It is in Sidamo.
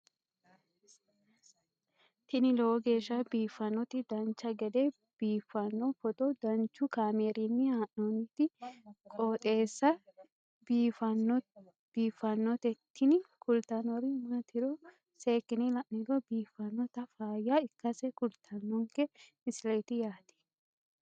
tini lowo geeshsha biiffannoti dancha gede biiffanno footo danchu kaameerinni haa'noonniti qooxeessa biiffannoti tini kultannori maatiro seekkine la'niro biiffannota faayya ikkase kultannoke misileeti yaate